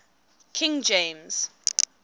king james